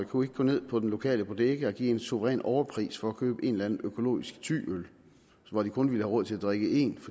kunne gå ned på den lokale bodega og give en suveræn overpris for at købe en eller anden økologisk thyøl som de kun ville have råd til at drikke én